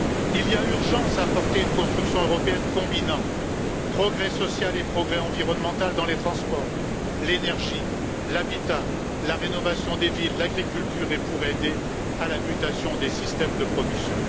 Il y a urgence à porter une construction européenne combinant progrès social et progrès environnemental dans les transports, l'énergie, l'habitat, la rénovation des villes, l'agriculture et pour aider à la mutation des systèmes de production.